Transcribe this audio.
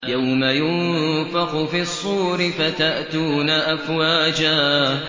يَوْمَ يُنفَخُ فِي الصُّورِ فَتَأْتُونَ أَفْوَاجًا